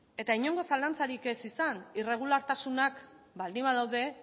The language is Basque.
eta inongo zalantzarik ez izan irregulartasunak baldin badaude